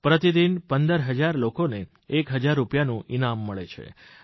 પ્રતિદિન 15 હજાર લોકોને એક હજાર રૂપિયાનું ઇનામ મળે છે